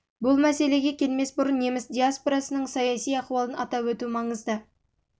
бұл мәселеге келмес бұрын неміс диаспорасының саяси ахуалын атап өту маңызды болып онда жылғы тамыздағы өзгерістерден